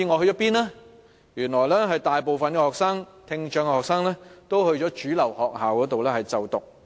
原來大部分聽障學生都在主流學校就讀。